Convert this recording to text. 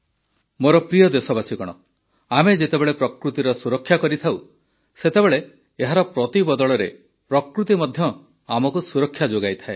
ମୋର ପ୍ରିୟ ଦେଶବାସୀଗଣ ଆମେ ଯେତେବେଳେ ପ୍ରକୃତିର ସୁରକ୍ଷା କରିଥାଉ ସେତେବେଳେ ଏହାର ପ୍ରତିବଦଳରେ ପ୍ରକୃତି ମଧ୍ୟ ଆମକୁ ସୁରକ୍ଷା ଯୋଗାଇଥାଏ